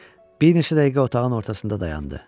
Bir neçə dəqiqə otağın ortasında dayandı.